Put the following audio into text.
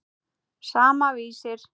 Sama, Vísir.